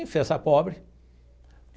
pobre.